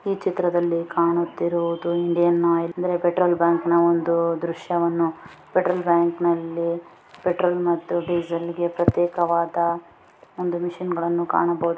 ಈ ಚಿತ್ರದಲ್ಲಿ ಕಾಣಿತ್ತಿರುವುದು ಇಂಡಿಯನ್ ಆಯಿಲ್ ಅಂದ್ರೆ ಪೆಟ್ರೋಲ್ ಬಂಕ್ ನಾ ಒಂದು ದೃಶ್ಯವನ್ನು ಪೆಟ್ರೋಲ್ ಬಂಕ್ನಲ್ಲಿ ಪೆಟ್ರೋಲ್ ಮತ್ತು ಡೀಸಲ್ ಗೆ ಪ್ರತ್ಯೇಕವಾದ ಒಂದು ಮೆಷಿನ್ ಗಳನ್ನು ಅನ್ನು ಕಾಣಬಹುದು.